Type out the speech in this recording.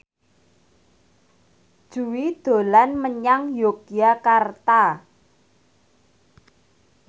Jui dolan menyang Yogyakarta